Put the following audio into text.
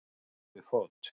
Ekið yfir fót